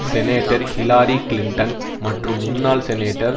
senator Hillary Clinton மற்றும் முன்னாள் senator